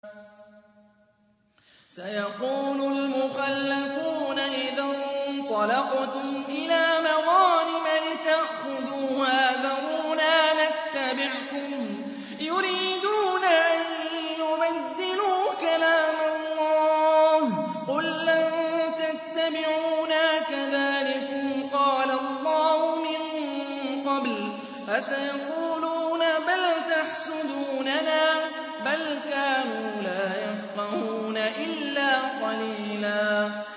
سَيَقُولُ الْمُخَلَّفُونَ إِذَا انطَلَقْتُمْ إِلَىٰ مَغَانِمَ لِتَأْخُذُوهَا ذَرُونَا نَتَّبِعْكُمْ ۖ يُرِيدُونَ أَن يُبَدِّلُوا كَلَامَ اللَّهِ ۚ قُل لَّن تَتَّبِعُونَا كَذَٰلِكُمْ قَالَ اللَّهُ مِن قَبْلُ ۖ فَسَيَقُولُونَ بَلْ تَحْسُدُونَنَا ۚ بَلْ كَانُوا لَا يَفْقَهُونَ إِلَّا قَلِيلًا